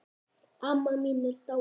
Amma mín er dáin.